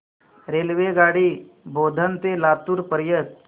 रेल्वेगाडी बोधन ते लातूर पर्यंत